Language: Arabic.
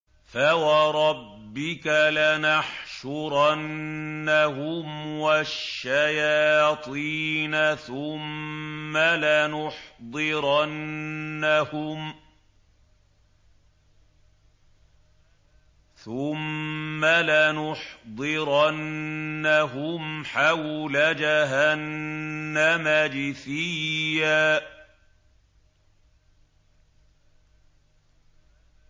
فَوَرَبِّكَ لَنَحْشُرَنَّهُمْ وَالشَّيَاطِينَ ثُمَّ لَنُحْضِرَنَّهُمْ حَوْلَ جَهَنَّمَ جِثِيًّا